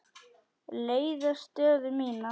leiða stöðu mína.